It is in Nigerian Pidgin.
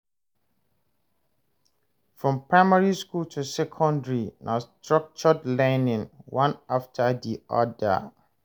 From primary school to secondary, na structured learning, one afta di oda.